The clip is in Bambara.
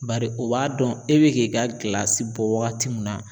Bari o b'a dɔn e bɛ k'i ka bɔ waagati min na.